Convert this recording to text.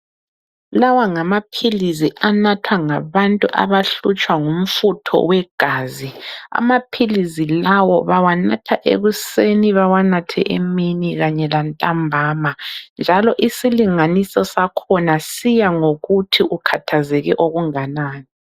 Lawa ngamaphilisi anathwa ngabantu abahlutshwa ngumfutho wegazi. Amaphilisi lawa bawanatha ekuseni, bawanathe emini kanye lantambama. Njalo isilinganiso sakho siyangokuthi ukhathazeke okunganani.